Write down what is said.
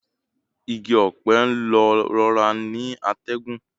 Igi ọ̀pẹ ń lọ rọra ni atẹ́gùn